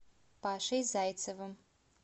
пашей зайцевым